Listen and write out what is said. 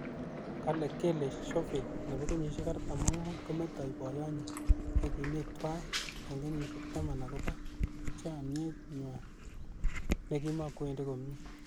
Kole Kellie Chauvin nebo kenyishek 45, kometoi boiyot nyi ne ki mii twai ing kenyishek taman akobo chemyet nywa ne kimokwendi komie.